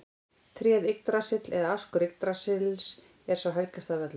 Tréð Yggdrasill eða askur Yggdrasils er sá helgasti af öllum.